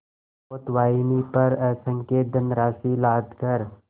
पोतवाहिनी पर असंख्य धनराशि लादकर